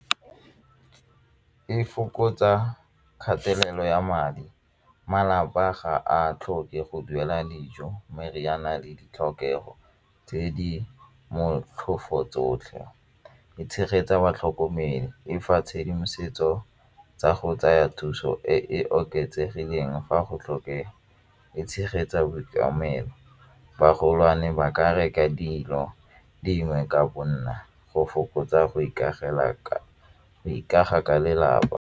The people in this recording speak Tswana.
E fokotsa kgatelelo ya madi, malapa ga a tlhoke go duela dijo, meriana le ditlhokego tse di motlhofo tsotlhe, e tshegetsa batlhokomelo e fa tshedimosetso tsa go tsaya thuso e e oketsegileng fa go tlhokega, e tshegetsa magolwane ba ka reka dilo dingwe ka go fokotsa go ikaga ka lelapa.